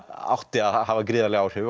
átti að hafa gríðarleg áhrif